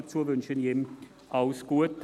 Dafür wünsche ich ihm alles Gute.